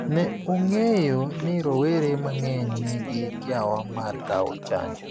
ne ong'eyo ni rowere mang'eny nigi kiawa mar kawo chanjo